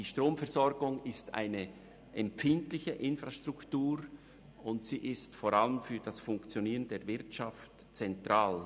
Die Stromversorgung ist eine empfindliche Infrastruktur, und sie ist vor allem für das Funktionieren der Wirtschaft zentral.